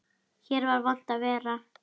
Hér var vont að vera.